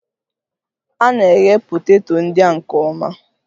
A na-eghe poteto ndị a nke ọma